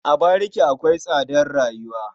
A bariki akwai tsadar rayuwa.